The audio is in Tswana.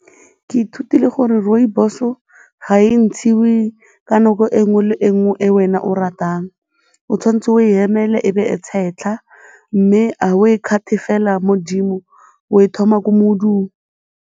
Ke ithutile gore rooibos-o ga e ntshiwe ka nako e nngwe le e nngwe e wena o ratang, o tshwanetse o emele e be e tshetlha mme ga o e cut-e fela mo 'dimo, o e thoma ko modung.